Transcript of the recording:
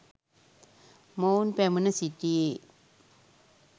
මොවුන් පැමිණ සිටියේ